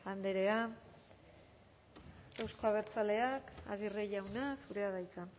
andrea euzko abertzaleak aguirre jauna zurea da hitza